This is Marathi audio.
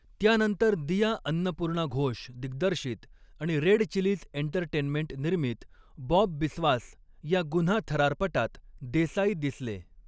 त्यानंतर दिया अन्नपूर्णा घोष दिग्दर्शित आणि रेड चिलीज एंटरटेनमेंट निर्मित बॉब बिस्वास या गुन्हा थरारपटात देसाई दिसले.